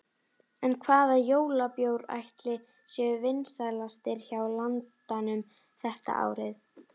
En hvaða jólabjórar ætli séu vinsælastir hjá landanum þetta árið?